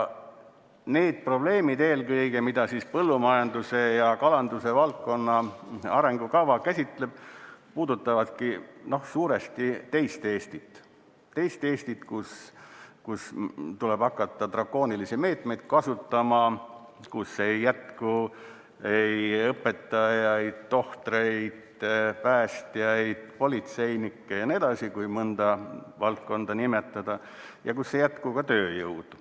Need probleemid eelkõige, mida põllumajanduse ja kalanduse valdkonna arengukava käsitleb, puudutavadki suuresti teist Eestit – teist Eestit, kus tuleb hakata drakoonilisi meetmeid kasutama, kus ei jätku õpetajaid, tohtreid, päästjaid, politseinikke jne, kui mõnda valdkonda nimetada, ja kus ei jätku ka tööjõudu.